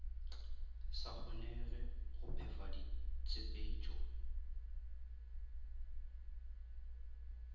sa kgonege go phefa ditshepetšo